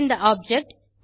இந்த ஆப்ஜெக்ட்